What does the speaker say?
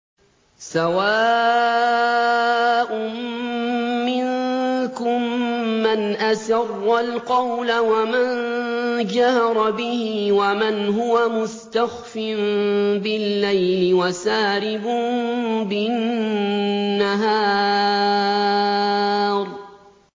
سَوَاءٌ مِّنكُم مَّنْ أَسَرَّ الْقَوْلَ وَمَن جَهَرَ بِهِ وَمَنْ هُوَ مُسْتَخْفٍ بِاللَّيْلِ وَسَارِبٌ بِالنَّهَارِ